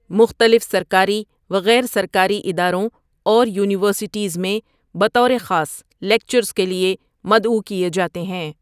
مختلف سرکاری و غیر سرکاری اداروں اور یونیورسٹیز میں بطور خاص لیکچرز کے لیے مدعو کیے جاتے ہیں۔